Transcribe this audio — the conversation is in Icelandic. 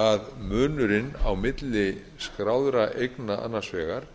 að munurinn á milli skráðra eigna annars vegar